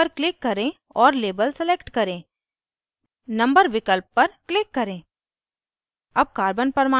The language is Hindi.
display menu पर click करें और label select करें number विकल्प पर click करें